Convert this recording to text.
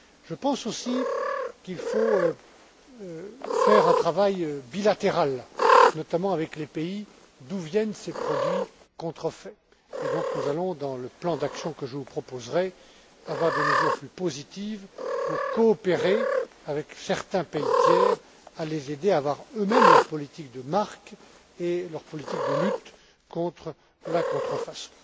Je pense aussi qu'il faut faire un travail bilatéral, notamment avec les pays d'où viennent ces produits contrefaits, et il y aura donc, dans le plan d'action que je vous proposerai, des mesures plus positives pour coopérer avec certains pays tiers et les aider à avoir eux mêmes leur politique des marques et leur politique de lutte contre la contrefaçon.